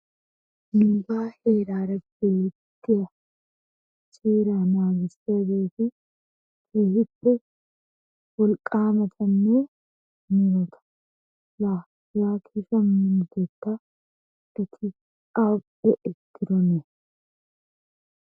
Nuugaa heeran keehippe seeraaa naagissiyaageeti keehippe wolqaamatanne minota. Laa hegaa keena minotetta eti awuppe ekkidonaa?